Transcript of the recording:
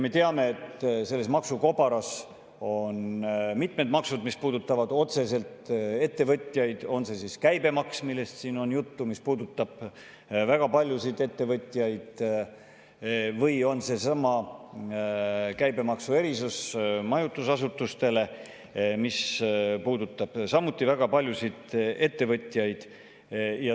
Me teame, et selles maksukobaras on mitmed maksud, mis puudutavad otseselt ettevõtjaid, on see siis käibemaks, millest siin on juttu olnud ja mis puudutab väga paljusid ettevõtjaid, või on see siis seesama käibemaksu erisus majutusasutustele, mis puudutab samuti väga paljusid ettevõtjaid.